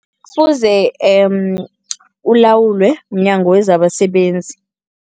Kufuze ulawulwe mNyango wezabaSebenzi.